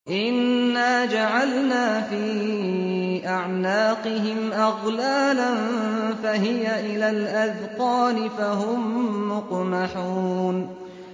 إِنَّا جَعَلْنَا فِي أَعْنَاقِهِمْ أَغْلَالًا فَهِيَ إِلَى الْأَذْقَانِ فَهُم مُّقْمَحُونَ